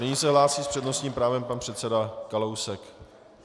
Nyní se hlásí s přednostním právem pan předseda Kalousek.